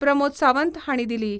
प्रमोद सावंत हांणी दिली.